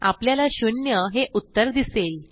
आपल्याला शून्य हे उत्तर दिसेल